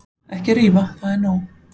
Ekki rífa, það er ekki nóg.